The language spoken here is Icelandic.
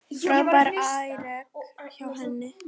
Frábært afrek hjá henni.